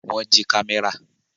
Wọ́n jí kámẹ́rà?